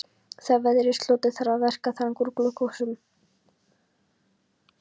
Þegar veðrinu slotar þarf að verka þang úr glugghúsum.